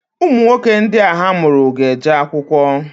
Ụmụnwoke ndị a ha mụrụ ga-eje akwụkwọ.